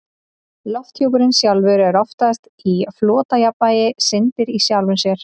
Lofthjúpurinn sjálfur er oftast í flotjafnvægi, syndir í sjálfum sér.